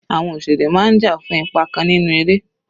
Àwọn òṣèré máa ń jà fún ipa kan nínú eré.